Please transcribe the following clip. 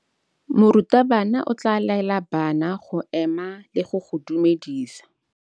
Morutabana o tla laela bana go ema le go go dumedisa.